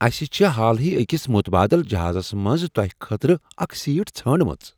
اَسہِ چھےٚ حالٕے أکس متبادل جہازس منٛز تۄہہ خٲطرٕ اکھ سیٹ ژھانڈمٕژ ۔